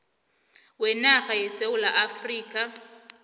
wenarha yesewula afrika